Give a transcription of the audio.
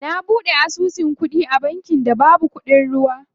Na buɗe asusu kuɗi a bankin da babu kuɗin ruwa.